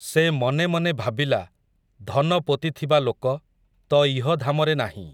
ସେ ମନେ ମନେ ଭାବିଲା, ଧନ ପୋତିଥିବା ଲୋକ, ତ ଇହଧାମରେ ନାହିଁ ।